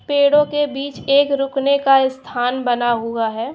पेड़ों के बीच एक रुकने का स्थान बना हुआ है।